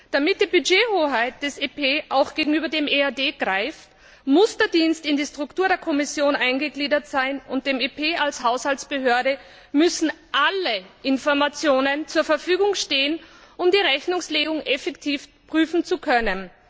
Damit die Budgethoheit des EP auch gegenüber dem EAD greift, muss der Dienst in die Struktur der Kommission eingegliedert sein, und dem EP als Haushaltsbehörde müssen alle Informationen zur Verfügung stehen, um die Rechnungslegung effektiv prüfen zu können.